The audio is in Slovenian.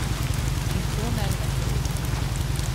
In to ne le poleti.